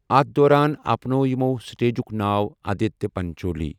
اَتھ دوران اپنوٚو یِمَو سٹیجُک ناو آدتیہ پنچولی۔